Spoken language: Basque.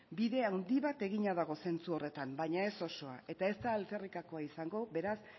bide handi bat egina dago zentzu horretan baina ez osoa eta ez da alferrikakoa izango beraz